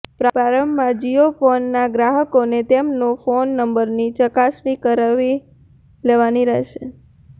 પ્રારંભમાં જીયો ફોન ના ગ્રાહકોને તેમનો ફોન નંબરની ચકાસણી કરાવી લેવાની રહેશે